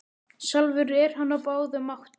Sjálfur er hann á báðum áttum.